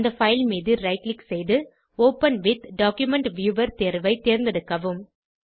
அந்த பைல் மீது right click செய்து ஒப்பன் வித் டாக்குமென்ட் வியூவர் தேர்வை தேர்ந்தெடுக்கவும்